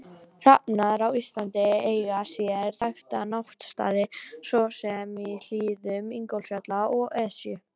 Hrafnar á Íslandi eiga sér þekkta náttstaði svo sem í hlíðum Ingólfsfjalls og Esju.